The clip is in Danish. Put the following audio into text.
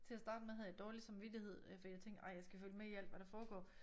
Til at starte med havde jeg dårlig samvittighed øh fordi jeg tænkte ej jeg skal følge med i alt hvad der foregår